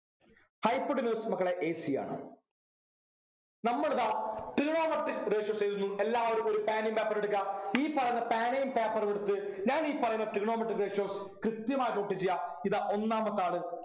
hypotenuse മക്കളെ a c ആണ് നമ്മളിതാ Trigonometric ratios എഴുതുന്നു എല്ലാവരും ഒരു പേനയും paper ഉം എടുക്കുക ഈ പറയുന്ന പേനയും paper ഉം എടുത്ത് ഞാനീ പറയുന്ന Trigonometric ratios കൃത്യമായി note ചെയ്യാ ഇതാ ഒന്നാമത്തെ ആള്